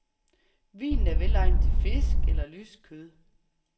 Vinen er velegnet til fisk eller lyst kød.